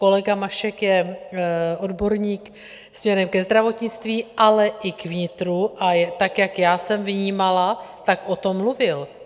Kolega Mašek je odborník směrem ke zdravotnictví, ale i k vnitru, a tak jak já jsem vnímala, tak o tom mluvil.